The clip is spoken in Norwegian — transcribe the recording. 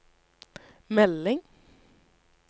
melding